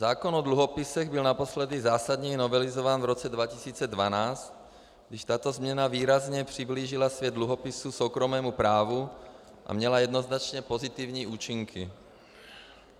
Zákon o dluhopisech byl naposledy zásadněji novelizován v roce 2012, když tato změna výrazně přiblížila svět dluhopisů soukromému právu a měla jednoznačně pozitivní účinky.